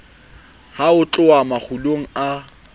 ha ho tluwa mangolong a